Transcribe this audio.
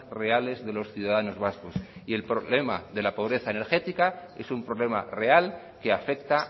reales de los ciudadanos vascos y el problema de la pobreza energética es un problema real que afecta a